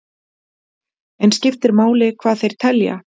En skiptir máli hvað þeir telja?